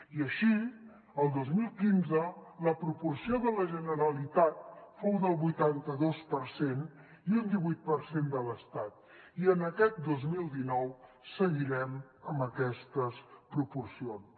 i així el dos mil quinze la proporció de la generalitat fou del vuitanta dos per cent i un divuit per cent de l’estat i en aquest dos mil dinou seguirem amb aquestes proporcions